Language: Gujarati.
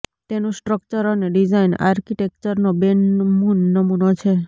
તેનુ સ્ટ્રક્ટર અને ડિઝાઈન આર્કિટેક્ચરનો બેનમૂન નમૂનો છે